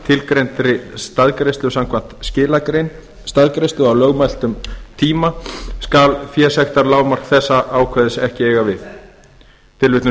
tilgreindri staðgreiðslu samkvæmt skilagrein staðgreiðslu á lögmæltum tíma skal fésektarlágmark þessa ákvæðis ekki eiga